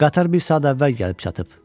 Qatar bir saat əvvəl gəlib çatıb.